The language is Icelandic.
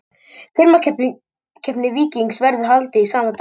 Firmakeppni Víkings verður haldið sama dag.